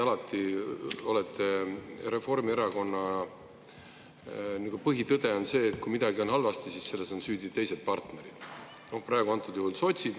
Reformierakonna põhitõde on see, et kui midagi on halvasti, siis on selles süüdi teised partnerid, praegusel juhul sotsid.